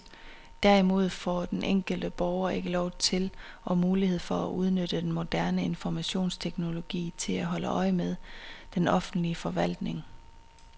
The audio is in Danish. Derimod får den enkelte borger ikke lov til og mulighed for at udnytte den moderne informationsteknologi til at holde øje med den offentlige forvaltning.